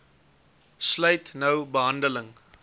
sluit nou behandeling